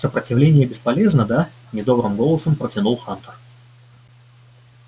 сопротивление бесполезно да недобрым голосом протянул хантер